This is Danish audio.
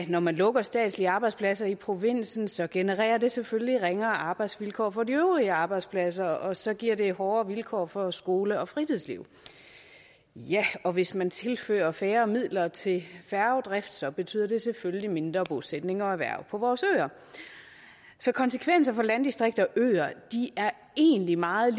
når man lukker statslige arbejdspladser i provinsen så genererer det selvfølgelig ringere arbejdsvilkår for de øvrige arbejdspladser og så giver det hårdere vilkår for skole og fritidsliv ja og hvis man tilfører færre midler til færgedrift så betyder det selvfølgelig mindre bosætning og erhverv på vores øer så konsekvenser for landdistrikter og øer er egentlig meget